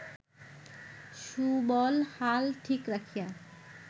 সুবল হাল ঠিক রাখিয়া